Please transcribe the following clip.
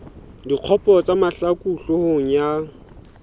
dikgopo tsa mahlaku hloohong ya